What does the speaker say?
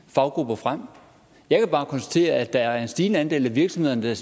faggrupper frem jeg kan bare konstatere at der er en stigende andel af virksomhederne